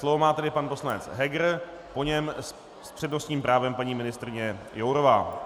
Slovo má tedy pan poslanec Heger, po něm s přednostním právem paní ministryně Jourová.